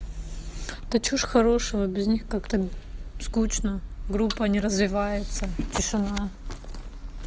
да что же хорошего без них как-то скучно группа не развивается тишина